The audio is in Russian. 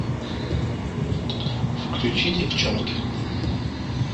включи девчонки